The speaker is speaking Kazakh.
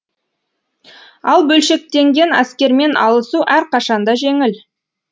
ал бөлшектенген әскермен алысу әрқашан да женіл